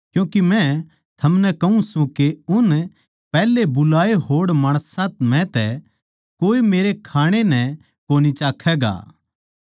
क्यूँके मै थमनै कहूँ सूं के उन पैहले बुलाए होड़ माणसां म्ह तै कोए मेरै खाणै नै कोनी चाखैगा